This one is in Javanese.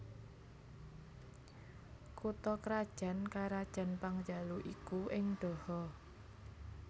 Kutha krajan karajan Pangjalu iku ing Daha